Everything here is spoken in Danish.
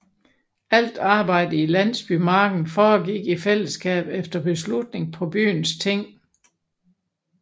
Alt arbejdet i landsbymarken foregik i fællesskab efter beslutning på byens ting